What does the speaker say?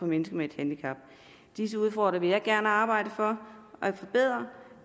mennesker med et handicap disse udfordringer vil jeg gerne arbejde for